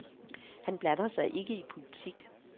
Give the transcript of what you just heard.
Han blander sig ikke i politik.